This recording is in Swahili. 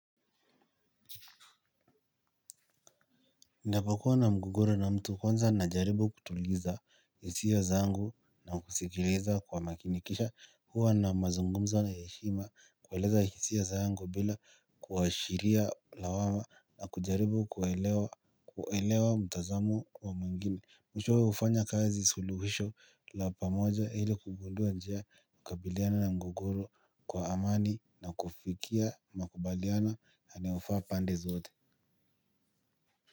Ninapokuwa na mgogoro na mtu kwanza najaribu kutuliza hisia zangu na kusikiliza kuwamakinikisha huwa na mazungumzo na heshima kueleza hisia zangu bila kuashiria lawama na kujaribu kuelewa mtazamo wa mwingine. Mwisho hufanya kazi suluhisho la pamoja ili kugundua njia kukabiliana na mgogoro kwa amani na kufikia makubaliano yanayofaa pande zote.